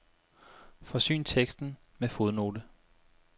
Forsyn teksten med fodnote.